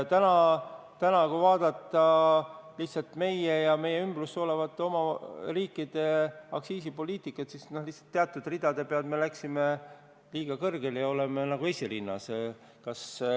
Täna, kui vaadata meie ja meie ümbruses olevate riikide aktsiisipoliitikat, siis teatud ridade peal me läksime nagu liiga kõrgele ja oleme esirinnas.